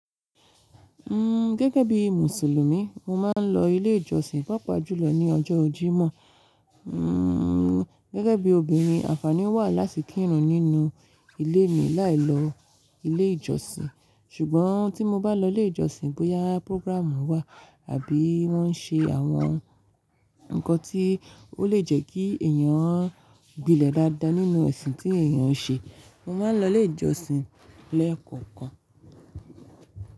N gẹ́gẹ́ bí Mùsùlùmí, mo máa ń lọ ilé ìjọsìn papajùlọ ní ọjọ́ Jímọ̀. Gẹ́gẹ́ bí obìnrin, àǹfààní wà láti kírun nínú ilé mi láì lọ ilé ìjọsìn. Ṣùgbọ́n tí mo bá lọ ilé ìjọsìn bóyá progràmù wà àbí wọ́n ń ṣe àwọn ǹkan tí ó lè jẹ́ kí èyàn gbilẹ̀ dáadáa nínú ẹ̀sìn tí èyàn ń ṣe, mo máa ń lọ ilé ìjọsìn lẹ́ẹ̀kọ̀kan.